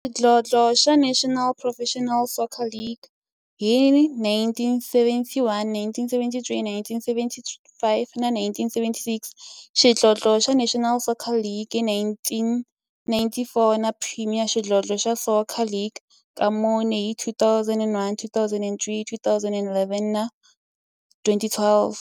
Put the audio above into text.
Xidlodlo xa National Professional Soccer League hi 1971, 1973, 1975 na 1976, xidlodlo xa National Soccer League hi 1994, na Premier Xidlodlo xa Soccer League ka mune, hi 2001, 2003, 2011 na 2012.